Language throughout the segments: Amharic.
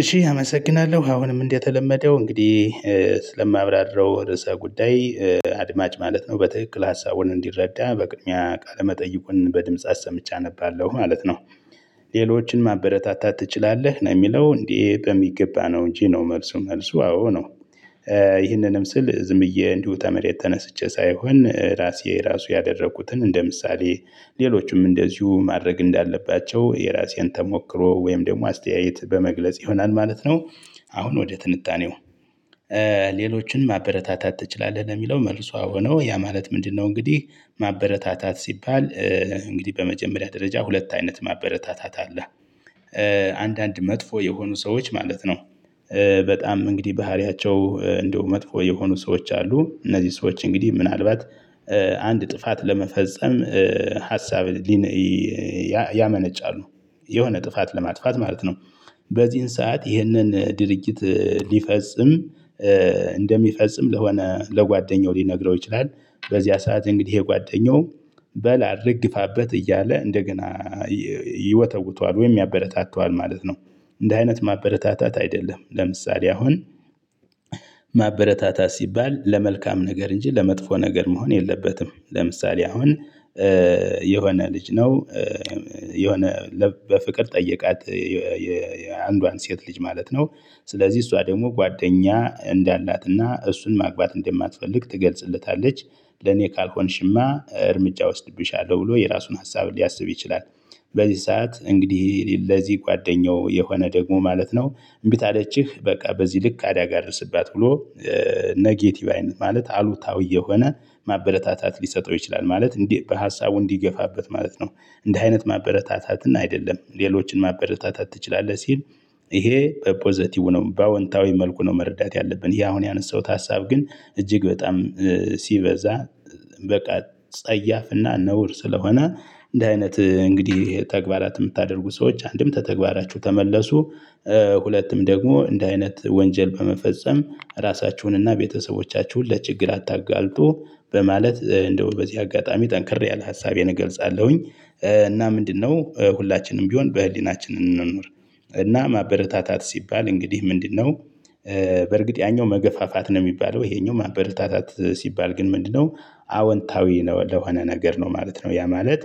እሺ አመሰግናለሁ አሁንም እንደተለመደው እንግዲህ ስለማብራርረው ርዕሰ ጉዳይ አድማጭ ማለት ነው በትክክል ሀሳቡን እንዲረዳ በቅድሚያ ቃለ መጠይቁን በድምጽ አሰምቼ አነባለሁ ማለት ነው። ሌሎችን ማበረታታት ትችላለህ ነው የሚለው እንዴ? በሚገባ ነው እንጂ ነው መልሱ መልሱ አዎ ነው። ይህንንም ስል ዝም ብዬ እንዲሁ ተመሬት ተነስቼ ሳይሆን ራሴ ራሱ ያደረጉትን እንደ ምሳሌ ሌሎችም እንደዚሁ ማድረግ እንዳለባቸው የራሴን ተሞክሮ ወይም ደግሞ አስተያየት በመግለጽ ይሆናል ማለት ነው። አሁን ወደ ትንጣኔው ሌሎችን ማበረታታት ትችላለህ ለሚለው መልሱ አዎ ነው ያ ማለት ምንድነው? እንግዲህ ማበረታታት ሲባል እንግዲህ በመጀመሪያ ደረጃ ሁለት አይነት ማበረታታት አለ። አንዳንድ መጥፎ የሆኑ ሰዎች ማለት ነው። በጣም እንግዲህ ባህሪያቸው እንደው መጥፎ የሆኑ ሰዎች አሉ እነዚህ ሰዎች እንግዲህ ምናልባት አንድ ጥፋት ለመፈጸም ሀሳብ ያመነጫሉ የሆነ ጥፋት ለማጥፋት ማለት ነው። በዚህን ሰዓት ይህንን ድርጅት ሊፈጽም እንደሚፈጽም ለሆነ ለጓደኛው ሊነግረው ይችላል በዚያ ሰዓት እንግዲህ የጓደኛው በል አድርግ ግፋበት እያለ እንደገና ይወተውተዋል ወይም ያበረታታዋል ማለት ነው። እንዲ አይነት ማበረታታት አይደለም። ለምሳሌ አሁን ማበረታታት ሲባል ለመልካም ነገር እንጂ ለመጥፎ ነገር መሆን የለበትም። ለምሳሌ አሁን የሆነ ልጅ ነው። የሆነ በፍቅር ጠየቃት የአንዷን ሴት ልጅ ማለት ነው። ስለዚህ እሷ ደግሞ ጓደኛ እንዳላትና እሱን ማግባት እንደማትፈልግ ትገልጽለታለች። ለኔ ካልሆንሽማ እርምጃ ወስድብሻለሁ ብሎ የራሱን ሀሳብ ሊያስብ ይችላል። በዚህ ሰዓት እንግዲህ ለዚህ ጓደኛው የሆነ ደግሞ ማለት ነው። እምቢ ታለችህ በቃ በዚህ ልክ አደጋ አድርስባት ብሎ ኔጌቲቭ አይነት ማለት አሉታዊ የሆነ ማበረታታት ሊሰጠው ይችላል ማለት እንዴ በሀሳቡ እንዲገፋበት ማለት ነው። እንዲህ አይነት ማበረታታትን አይደለም ሌሎችን ማበረታታት ትችላለህ ሲል። ይሄ በፖዘቲቭ ነው በአዎንታዊ መልኩ ነው መረዳት ያለብን ይህ አሁን ያነሳሁት ሀሳብ ግን እጅግ በጣም። ሲበዛ በቃ ጸያፍና ነውር ስለሆነ እንዲ አይነት እንግዲህ ተግባራት የምታደርጉ ሰዎች አንድም ተተግባራችሁ ተመለሱ። ሁለቱም ደግሞ እንዲ አይነት ወንጀል በመፈጸም ራሳችሁን እና ቤተሰቦቻችሁን ለችግር አታጋልጡ በማለት እንደው በዚህ አጋጣሚ ጠንክር ያለ ሀሳቤን እገልጻለሁኝ። እና ምንድነው? ሁላችንም ቢሆን በህሊናችን እንኑር። እና ማበረታታት ሲባል እንግዲህ ምንድነው? በርግጥ ያኛው መገፋፋት ነው የሚባለው ይሄኛው ማበረታታት ሲባል ግን ምንድነው? አወንታዊ ነው ለሆነ ነገር ነው ማለት ነው ያ ማለት።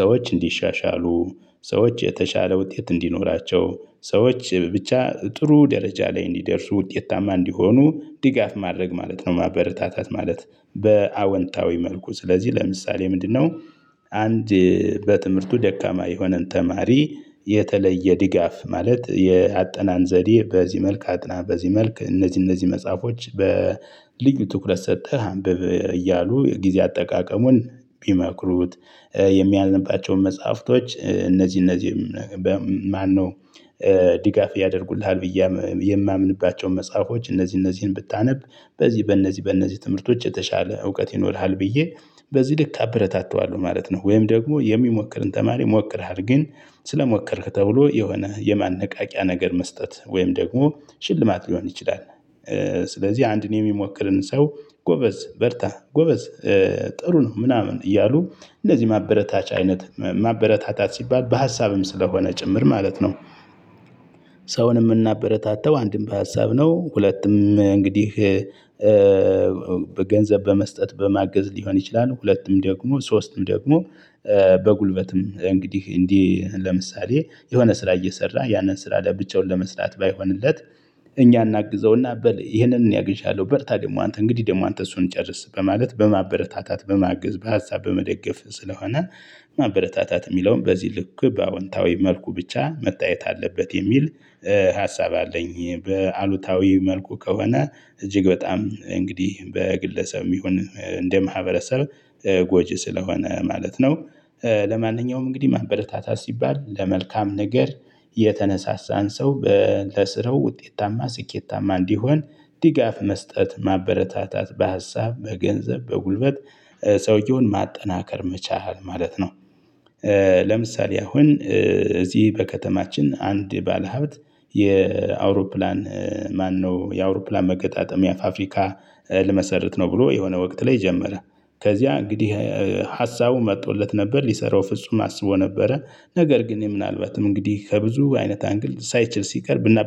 ሰዎች እንዲሻሻሉ ሰዎች የተሻለ ውጤት እንዲኖራቸው ሰዎች ብቻ ጥሩ ደረጃ ላይ እንዲደርሱ ውጤታማ እንዲሆኑ ድጋፍ ማድረግ ማለት ነው ማበረታታት ማለት። በአወንታዊ መልኩ ስለዚህ ለምሳሌ ምንድነው? አንድ በትምህርቱ ደካማ የሆነን ተማሪ የተለየ ድጋፍ ማለት ያአጠናን ዘዴ በዚህ መልክ አጥና በዚህ መልክ እነዚህ እነዚህ መጽሐፎች በልዩ ትኩረት ሰጥተህ አንብብ እያሉ የጊዜ አጠቃቀሙን ቢመክሩት። የሚያነባቸውን መጽሐፍቶች እነዚህ እነዚህ ማነው? ድጋፍ ያደርጉልሃል ብዬ የማምንባቸውን መጽሐፎች እነዚህ እነዚህን ብታነብ በዚህ በእነዚህ በእነዚህ ትምህርቶች የተሻለ እውቀት ይኖርሃል ብዬ በዚህ ልክ አበረታተዋለሁ ማለት ነው። ወይም ደግሞ የሚሞክርን ተማሪ ሞክርሃል ግን ስለሞከርክ ተብሎ የሆነ የማነቃቂያ ነገር መስጠት ወይም ደግሞ ሽልማት ሊሆን ይችላል። ስለዚህ አንድን የሚሞክርን ሰው ጎበዝ በርታ ጎበዝ ጥሩ ነው ምናምን እያሉ እንደዚህ ማበረታቻ አይነት ማበረታታት ሲባል በሀሳብም ስለሆነ ጭምር ማለት ነው። ሰውን የምናበረታታው አንድም በሀሳብ ነው። ሁለቱም እንግዲህ በገንዘብ በመስጠት በማገዝ ሊሆን ይችላል። ሁለቱም ደግሞ ሶስቱም ደግሞ በጉልበትም እንግዲህ እንዲህ ለምሳሌ የሆነ ስራ እየሰራ ያንን ስራ ለብቻውን ለመስራት ባይሆንለት። እኛ እናግዘውና በል ይህንን እኔ አግዣለሁ በርታ ደግሞ አንተ እንግዲህ ደግሞ አንተ እሱን ጨርስ በማለት በማበረታታት በማግዝ በሀሳብ በመደገፍ ስለሆነ። ማበረታታት የሚለውን በዚህ ልክ በአዎንታዊ መልኩ ብቻ መታየት አለበት የሚል ሀሳብ አለኝ። በአሉታዊ መልኩ ከሆነ እጅግ በጣም እንግዲህ በግለሰብም ይሁን እንደ ማህበረሰብ ጎጂ ስለሆነ ማለት ነው። ለማንኛውም እንግዲህ ማህበረታታት ሲባል ለመልካም ነገር የተነሳሳን ሰው ለስረው ውጤታማ ስኬታማ እንዲሆን ድጋፍ መስጠት ማበረታታት በሀሳብ በገንዘብ በጉልበት ሰውየውን ማጠናከር መቻል ማለት ነው። ለምሳሌ አሁን እዚህ በከተማችን አንድ ባለሀብት የአውሮፕላን ማነው የአውሮፕላን መገጣጠሚያ ፋብሪካ ልመሰርት ነው ብሎ የሆነ ወቅት ላይ ጀመረ። ከዚያ እንግዲህ ሀሳቡ መጥቶለት ነበር ሊሰራው ፍጹም አስቦ ነበረ ነገር ግን ምናልባትም እንግዲህ ከብዙ አይነት አንግል ሳይችል ሲቀርብና